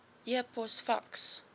e pos faks